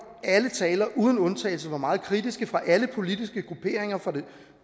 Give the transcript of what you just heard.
og alle talere uden undtagelse var meget kritiske fra alle politiske grupperinger fra det